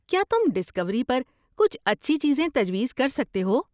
کیا تم ڈسکوری پر کچھ اچھی چیزیں تجویز کر سکتے ہو؟